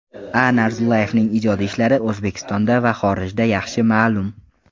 A. Narzullayevning ijodiy ishlari O‘zbekistonda va xorijda yaxshi ma’lum.